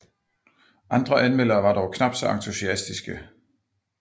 Andre anmeldere var dog knapt så entusiastiske